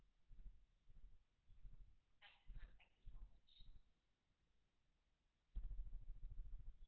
thanks ma'am thank you so much